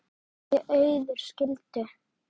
Þau Auður skildu.